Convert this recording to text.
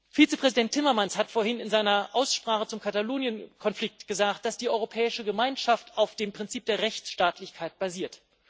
Vizepräsident Timmermans hat vorhin in der Aussprache zum Katalonien Konflikt gesagt, dass die Europäische Gemeinschaft auf dem Prinzip der Rechtsstaatlichkeit basiert.